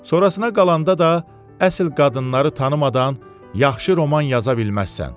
Sonrasına qalanda da əsil qadınları tanımadan yaxşı roman yaza bilməzsən.